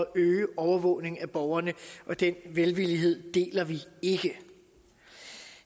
øge overvågning af borgerne og den velvillighed deler vi ikke